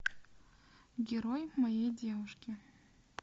герой моей девушки